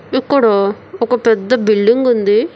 ఇక్కడ ఒక పెద్ద బిల్డింగ్ ఉంది.